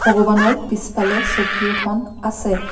ভগৱানৰ পিছফালে চকী এখন আছে।